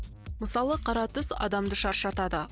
мысалы қара түс адамды шаршатады